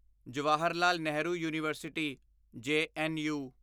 Jawaharlal Nehru university JNU